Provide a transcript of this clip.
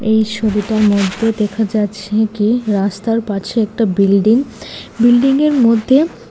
এই সোবিটার মধ্যে দেখা যাচ্ছে কি রাস্তার পাছে একটা বিল্ডিং বিল্ডিংয়ের মধ্যে--